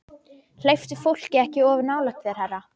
Hleyptu fólki ekki of nálægt þér, herra